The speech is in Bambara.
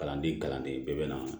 Kalanden kalanden bɛɛ bɛ na